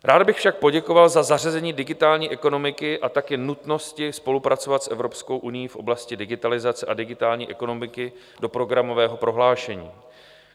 Rád bych však poděkoval za zařazení digitální ekonomiky a také nutnosti spolupracovat s Evropskou unií v oblasti digitalizace a digitální ekonomiky do programového prohlášení.